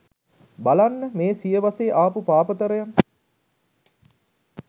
බලන්න මේ සියවසේ ආපු පාපතරයන්